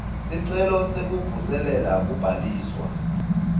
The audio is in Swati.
sicelo sekuvuselela kubhaliswa